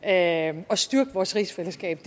at styrke vores rigsfællesskab